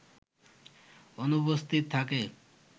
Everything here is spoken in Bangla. অনুপস্থিত থাকে